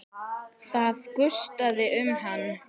Það gustaði um hann.